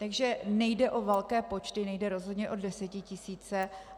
Takže nejde o velké počty, nejde rozhodně o desetitisíce.